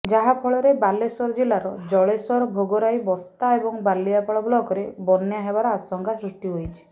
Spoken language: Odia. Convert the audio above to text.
ଯାହାଫଳରେ ବାଲେଶ୍ୱର ଜିଲ୍ଲାର ଜଳେଶ୍ୱର ଭୋଗରାଇ ବସ୍ତା ଏବଂ ବାଲିଆଳ ବ୍ଲକରେ ବନ୍ୟା ହେବାର ଆଶଙ୍କା ସୃଷ୍ଟି ହୋଇଛି